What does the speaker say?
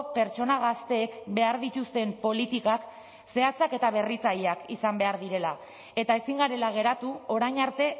pertsona gazteek behar dituzten politikak zehatzak eta berritzaileak izan behar direla eta ezin garela geratu orain arte